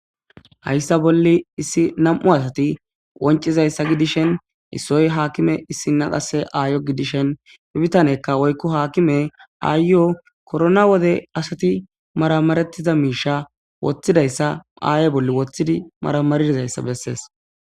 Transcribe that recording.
Hayssa bolli issi namm'u asatti qoncizayssa issoy hakimme issina qasse ayyo gidishin bittaneykka wokko akimey corona wode maramaridda misha aye bolla wothidi maramarishe bettees.